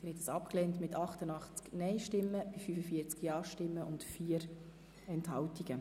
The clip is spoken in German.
Sie haben den Abänderungsantrag 2 abgelehnt mit 88 Nein- und 45 Ja-Stimmen bei 4 Enthaltungen.